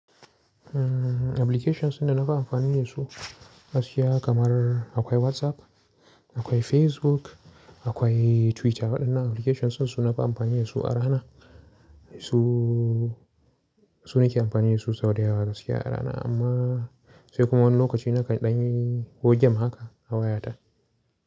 Applications da na fi amfani da su gaskiya kamar akwai WhatsApp, akwai Facebook, akwai Twitter waɗannan applications sun su na fi amfani da su a rana. Su, su ne ke amfani da su sau da yawa gaskiya a rana amma sai kuma wani lokaci naka ɗanyi ko game haka a wayata.